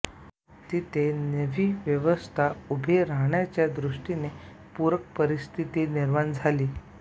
तिथे नवी व्यवस्था उभी राहण्याच्या दृष्टीने पूरक परिस्थिती निर्माण झाली